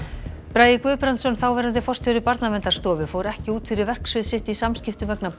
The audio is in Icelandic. bragi Guðbrandsson þáverandi forstjóri Barnaverndarstofu fór ekki út fyrir verksvið sitt í samskiptum vegna